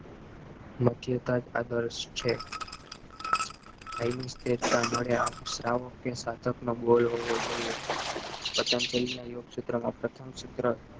માંધાતા જ આદર્શ છે કય્મિક મળે આમ સાધક નો goal હોવો જોઈએ પતંજલિ ના યોગસુત્ર માં પ્રથમ સુત્ર